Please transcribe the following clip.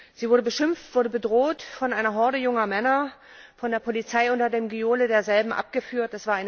Sie wurde beschimpft und bedroht von einer Horde junger Männer und dann von der Polizei unter dem Gejohle derselben abgeführt.